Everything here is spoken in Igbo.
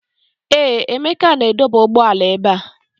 Ee, Emeka na-adọba ụgbọala ebe a.